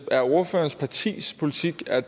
er ordførerens partis politik at